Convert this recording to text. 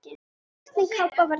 Hvernig kápa var þetta annars?